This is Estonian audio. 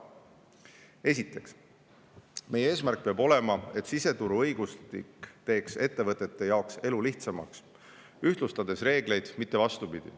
Esiteks, meie eesmärk peab olema, et siseturu õigustik teeks ettevõtete jaoks elu lihtsamaks, ühtlustades reegleid, mitte vastupidi.